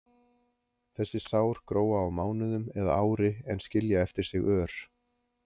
Þessi sár gróa á mánuðum eða ári en skilja eftir sig ör.